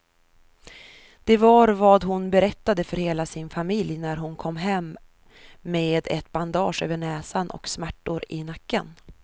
Det var vad hon berättade för hela sin familj när hon kom hem med ett bandage över näsan och smärtor i nacken.